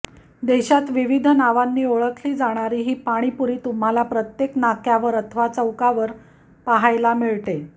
देशात विविध नावांनी ओळखली जाणारी ही पाणीपुरी तुम्हाला प्रत्येक नाक्यावर अथवा चौकावर पाहायला मिळते